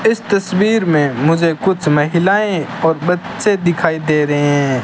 इस तस्वीर में मुझे कुछ महिलाएं और बच्चे दिखाई दे रहे हैं।